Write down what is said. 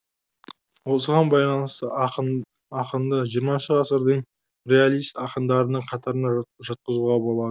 осыған байланысты ақынды жиырмасыншы ғасырдың реалист ақындарының қатарына жатқызуға болады